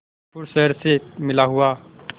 कानपुर शहर से मिला हुआ